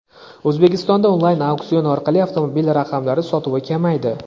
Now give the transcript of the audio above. O‘zbekistonda onlayn auksion orqali avtomobil raqamlari sotuvi kamaydi.